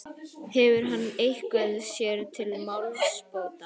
Hefur hann eitthvað sér til málsbóta?